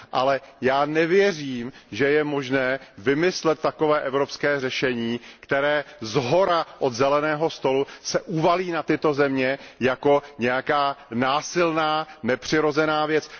Ale já nevěřím, že je možné vymyslet takové evropské řešení, které shora, od zeleného stolu se uvalí na tyto země jako nějaká násilná nepřirozená věc.